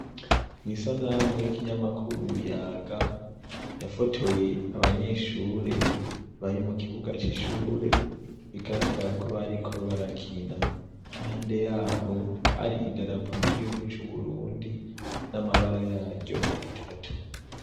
Mw'isanamu y'ikinyamakuru Yaga yafotoye abanyeshure bari mu kibuga c'ishure bigaragara ko bariko barakina impande yaho hari idarapo ry'igihugu c'Uburundi n'amabara yaryo atatu.